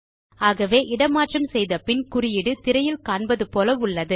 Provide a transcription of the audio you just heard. ஆகவே இட மாற்றம் செய்த பின் குறியீடு திரையில் காண்பது போல உள்ளது